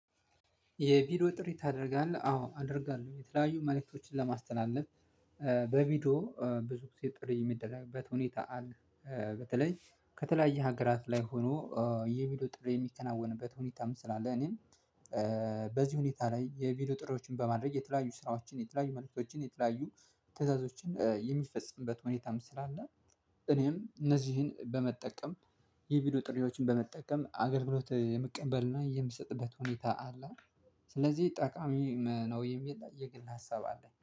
የቪዲዮ ጥሪ ታደርጋለህ? አዎ አደርጋለሁ። የተለያዩ መልእክቶችን ለማስተላለፍ በቪዲዮ ብዙ ጊዜ ጥሬ የሚደረግበት ሁኔታ አለ። በተለይ ከተለያየ ሀገራት ላይ ሆኖ የቪዲዮ ጥሪ የሚከናወንበት ሁኔታም ስላለ እኔም በዚህ ሁኔታ ላይ የቪዲዮ ጥሪዎችን በማድረግ የተለያዩ ስራዎችን የተለያዩ መልእክቶችን የተለያዩ ትዕዛዞችን የሚፈጸምበት ሁኔታም ስላለ እኔም እነዚህን በመጠቀም የቪዲዮ ጥሪዎችን በመጠቀም አገልግሎት የምቀበልና የምሰጥበት ሁኔታ አለ። ስለዚህ ጠቃሚ ነው የሚል የግል ሀሳብ አለ።